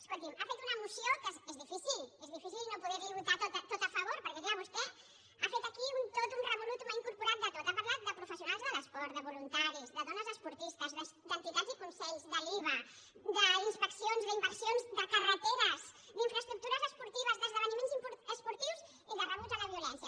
escolti’m ha fet una moció que és difícil és difícil no poder li ho votar tot a favor perquè clar vostè ha fet aquí tot un totum revolutumporat de tot ha parlat de professionals de l’esport de voluntaris de dones esportistes d’entitats i consells de l’iva d’inspeccions d’inversions de carreteresd’infraestructures esportives d’esdeveniments esportius i de rebuig a la violència